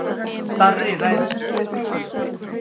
Darri ræðir við þrjú lið